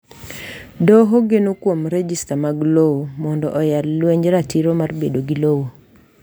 Doho geno kuom rejista mag lowo mondo oyal lwenj ratiro mar bedo wuon lowo.